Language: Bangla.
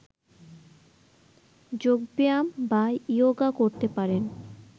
যোগ ব্যায়াম বা ইয়োগা করতে পারেন